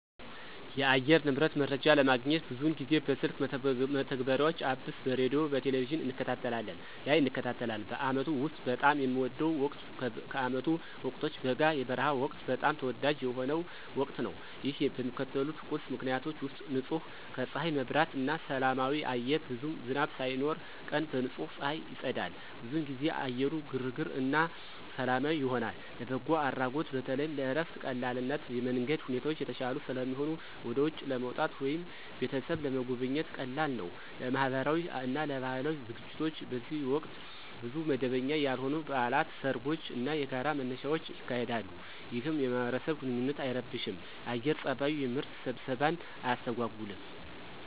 የአየር ንብረት መረጃ ለማግኘት ብዙውን ጊዜ በስልክ መተግበሪያዎች (Apps) በሬዲዮ፣ በቴሊቪዥን እንከታተላለን ላይ እንከታተላለን። በአመቱ ውስጥ በጣም የሚወደው ወቅት ከዓመቱ ወቅቶች በጋ (የበረሃ ወቅት) በጣም ተወዳጅ የሆነው ወቅት ነው። ይህ በሚከተሉት ቁልፍ ምክንያቶች ውሰጥ · ንጹህ ከፀሐይ መብራት እና ሰላማዊ አየር ብዙም ዝናብ ሳይኖር፣ ቀን በንጹህ ፀሐይ ይጸዳል። ብዙውን ጊዜ አየሩ ግርግር እና ሰላማዊ ይሆናል። · ለበጎ አድራጎት በተለይም ለእረፍት ቀላልነት የመንገድ ሁኔታዎች የተሻሉ ስለሚሆኑ ወደ ውጪ ለመውጣት ወይም ቤተሰብን ለመጎብኘት ቀላል ነው። · ለማህበራዊ እና ለባህላዊ ዝግጅቶች በዚህ ወቅት ብዙ መደበኛ ያልሆኑ በዓላት፣ ሰርጎች እና የጋራ መነሻዎች ይካሄዳሉ፣ ይህም የማህበረሰብ ግንኙነትን አይረብሽም የአየር ፀባዩ። የምርት ስብሰባን አያስተጎጉልም።